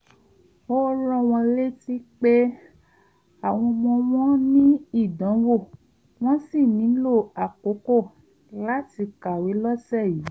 ó rán wọn létí pé àwọn ọmọ wọn ní ìdánwò wọ́n sì nílò àkókò láti kàwé lọ́sẹ̀ yìí